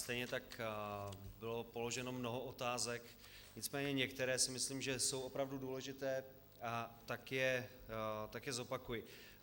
Stejně tak bylo položeno mnoho otázek, nicméně některé si myslím, že jsou opravdu důležité, a tak je zopakuji.